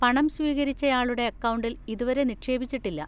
പണം സ്വീകരിച്ചയാളുടെ അക്കൗണ്ടിൽ ഇതുവരെ നിക്ഷേപിച്ചിട്ടില്ല.